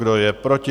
Kdo je proti?